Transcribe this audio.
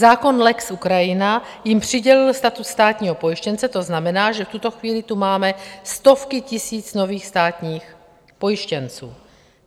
Zákon lex Ukrajina jim přidělil status státního pojištěnce, to znamená, že v tuto chvíli tu máme stovky tisíc nových státních pojištěnců.